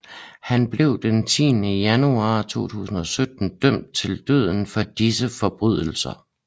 Han blev den 10 januar 2017 dømt til døden for disse forbrydelser